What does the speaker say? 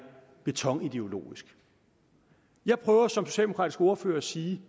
betonideologisk jeg prøver som socialdemokratisk ordfører at sige